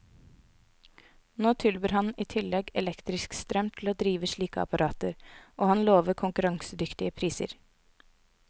Nå tilbyr han i tillegg elektrisk strøm til å drive slike apparater, og han lover konkurransedyktige priser.